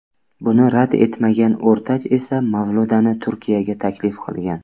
Buni rad etmagan O‘rtach esa Mavludani Turkiyaga taklif qilgan.